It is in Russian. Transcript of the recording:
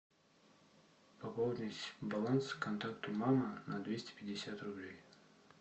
пополнить баланс контакту мама на двести пятьдесят рублей